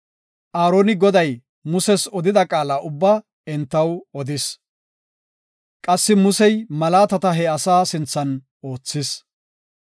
Aaroni Goday Muses odida qaala ubbaa entaw odis. Qassi Musey malaatata he asaa sinthan oothis.